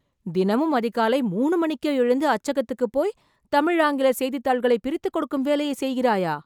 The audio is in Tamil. தினமும் அதிகாலை மூணு மணிக்கே எழுந்து அச்சகத்துக்குப் போய், தமிழ், ஆங்கில செய்தித்தாள்களை பிரித்துக்கொடுக்கும் வேலையை செய்கிறாயா....